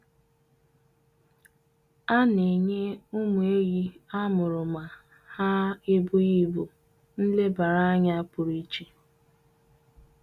A na-enye ụmụ ehi a mụrụ ma ha ebughị ibụ nlebara anya pụrụ iche.